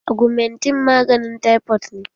Agumentin maganin taifot ne